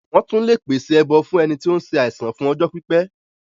Wọ́n tún lè pèsè ẹbọ fún ẹni tí ó ń se àìsàn fún ọjọ́ pípẹ́.